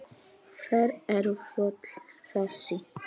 Hver eru fjöll þessi?